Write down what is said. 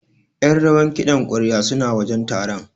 Ƴan rawar kiɗan ƙwarya suna wajen taron.